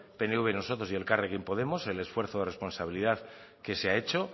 pnv y nosotros y elkarrekin podemos el esfuerzo de responsabilidad que se ha hecho